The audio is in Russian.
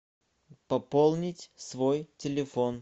пополнить свой телефон